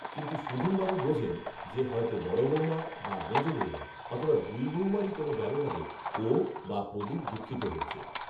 কিন্তু সুধীনবাবু বোঝেন যে, হয়তো বড় বৌমা বা মেজ বৌমা, অথবা দুই বৌমারই কোনো ব্যবহারে ও বা প্রদীপ দুঃখিত হয়েছে